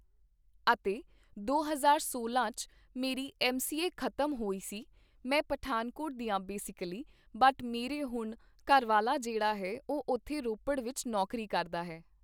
ਅਤੇ ਦੋ ਹਜ਼ਾਰ ਸੋਲ਼ਾਂ 'ਚ ਮੇਰੀ ਐੱਮ ਸੀ ਏ ਖ਼ਤਮ ਹੋਈ ਸੀ ਮੈਂ ਪਠਾਨਕੋਟ ਦੀ ਹਾਂ ਬੇਸਿਕੀਲੀ ਬਟ ਮੇਰੇ ਹੁਣ ਘਰਵਾਲਾ ਜਿਹੜਾ ਹੈ ਉਹ ਉੱਥੇ ਰੋਪੜ ਵਿੱਚ ਨੌਕਰੀ ਕਰਦਾ ਹੈ